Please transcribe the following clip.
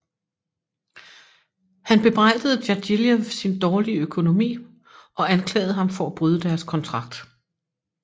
Han bebrejdede Djagilev sin dårlige økonomi og anklagede ham for at bryde deres kontrakt